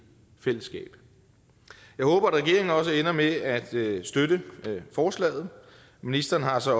fællesskab jeg håber at regeringen også ender med at støtte forslaget ministeren har så